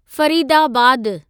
फरीदाबादु